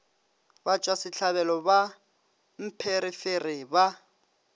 batšwa sehlabelo ba mpherefere ba